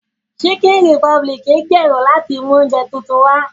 Chicken republic ń gbèrò láti mú oúnjẹ tuntun wá